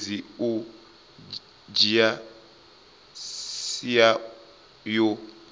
sumbedzi u dzhia sia yo